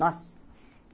Nossa.